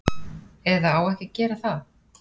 Eða á ekki að gera það.